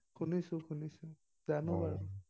শুনিছোঁ শুনিছোঁ, জানো বাৰু।